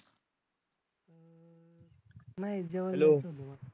नाही